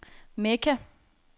Mekka